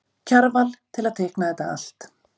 Kjarval til að teikna þetta allt.